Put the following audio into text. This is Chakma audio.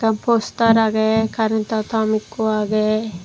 poster agay carantow tom ekko aagay.